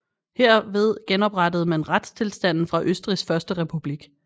Herved genoprettede man retstilstanden fra Østrigs første republik